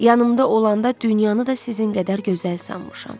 Yanımda olanda dünyanı da sizin qədər gözəl sanmışam.